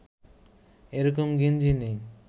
এ রকম গেঞ্জি নেই